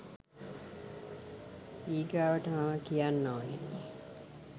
ඊගාවට මම කියන්න ඕනේ